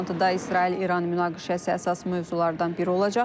Toplantıda İsrail-İran münaqişəsi əsas mövzulardan biri olacaq.